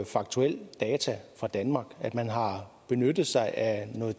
faktuelle data fra danmark man har benyttet sig af noget